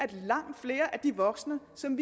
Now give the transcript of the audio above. af langt flere af de voksne som